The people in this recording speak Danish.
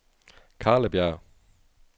Karlebjerg